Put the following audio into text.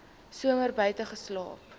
somer buite geslaap